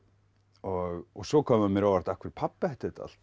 og svo kom mér á óvart af hverju pabbi ætti þetta allt